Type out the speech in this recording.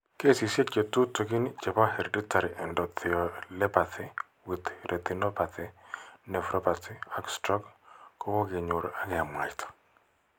Kesisiek che tutugin che po hereditary endotheliopathy with retinopathy, nephropathy ak stroke ko koke nyor ak ke mwaita.